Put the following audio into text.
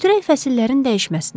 Götürək fəsillərin dəyişməsini.